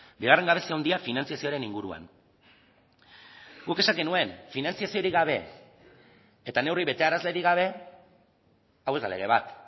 bigarren gabezi handia finantzazioaren inguruan guk esan genuen finantzaziorik gabe eta neurri betearazlerik gabe hau ez da lege bat